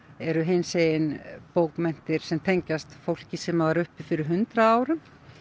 eru hinsegin bókmenntir sem tengjast fólki sem var uppi fyrir hundrað árum